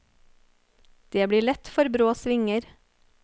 Det blir lett for brå svinger.